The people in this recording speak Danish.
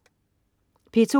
P2: